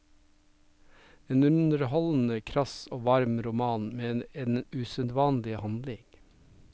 En underholdende, krass og varm roman med en usedvanlig handling.